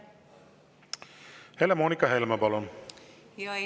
Helle-Moonika Helme, palun!